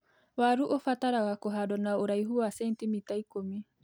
Waru ũbataraga kũhandwo na ũraihu wa cenitimita ikũmi.